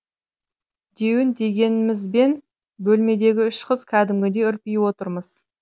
деуін дегенімізбен бөлмедегі үш қыз кәдімгідей үрпиіп отырмыз